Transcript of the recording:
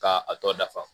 K'a a tɔ dafa